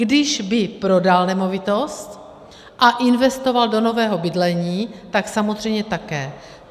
Když by prodal nemovitost a investoval do nového bydlení, tak samozřejmě také.